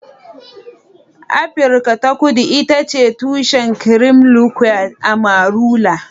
Afirka ta Kudu ita ce tushen cream liqueur amarula.